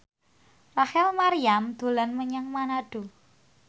Rachel Maryam dolan menyang Manado